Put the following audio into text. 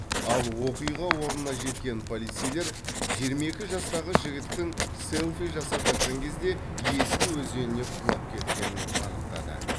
ал оқиға орнына жеткен полицейлер жиырма екі жастағы жігіттің селфи жасап жатқан кезде есіл өзеніне құлап кеткенін анықтады